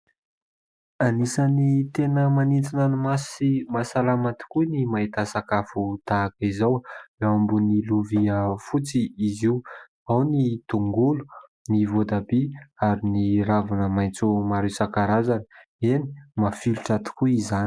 Anisan'ny tena manintona ny maso sy mahasalama tokoa ny mahita sakafo tahaka izao. Eo ambony lovia fotsy izy io, ao ny tongolo, ny voatabia ary ny ravina maitso maro isan-karazany. Eny ! mafilotra tokoa izany.